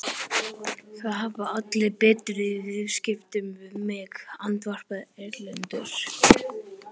Það hafa allir betur í viðskiptum við mig, andvarpaði Erlendur.